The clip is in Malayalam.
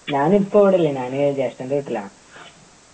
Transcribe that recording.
ഞാനിപ്പോ ഇവിടില്ല ഞാന് ജേഷ്ടൻ്റെ വീട്ടിലാ